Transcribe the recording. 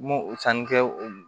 N m'o o sanni kɛ o